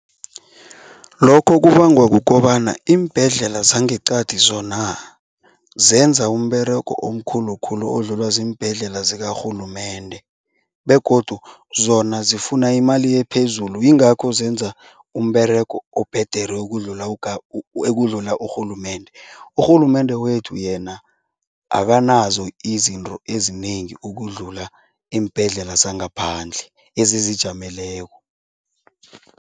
Lokho kubangwa kukobana iimbhedlela zangeqadi zona zenza umberego omkhulu khulu odlulwa ziimbhedlela zikarhulumende begodu zona zifuna imali ephezulu, yingakho zenza umberego obhedere ukudlula ekudlula urhulumende. Urhulumende wethu yena akanazo izinto ezinengi ukudlula iimbhedlela zangaphandle ezizijameleko.